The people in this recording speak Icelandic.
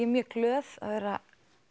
mjög glöð að vera